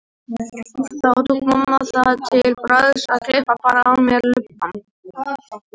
Þá tók mamma það til bragðs að klippa bara af mér lubbann.